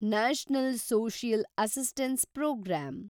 national social assistance program